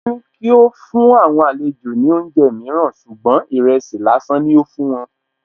Wọn ní kí ó fún àwọn àlejò ní oúnjẹ mìíràn ṣùgbọ́n ìrẹsì lásán ni ó fún wọn